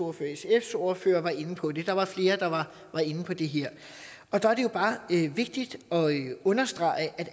og sfs ordfører var inde på det der var flere der var inde på det her der er det jo bare vigtigt at understrege at